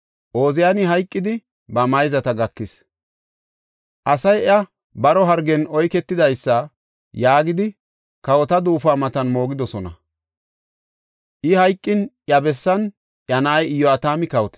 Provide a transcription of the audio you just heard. Ooziyani hayqidi ba mayzata gakis. Asay iya, “Baro hargen oyketidaysa” yaagidi, kawota duufuwa matan moogidosona. I hayqin iya bessan iya na7ay Iyo7atami kawotis.